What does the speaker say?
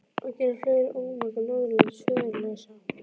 Og gera fleiri ómaga norðanlands föðurlausa!